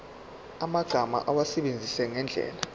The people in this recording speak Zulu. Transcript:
yamagama awasebenzise ngendlela